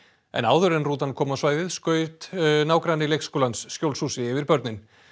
en áður en rútan kom á svæðið skaut nágranni leikskólans skjólshúsi yfir börnin